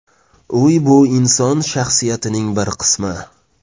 Uy bu inson shaxsiyatining bir qismi.